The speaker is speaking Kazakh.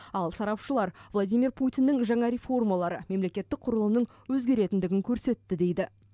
ал сарапшылар владимир путиннің жаңа реформалары мемлекетік құрылымның өзгеретіндігін көрсетті дейді